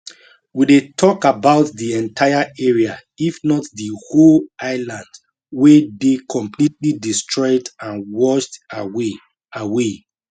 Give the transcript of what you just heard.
we dey tok about di entire area if not di whole island wey dey completely destroyed and washed away away